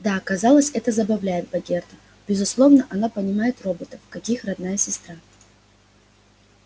да казалось это забавляет богерта безусловно она понимает роботов как их родная сестра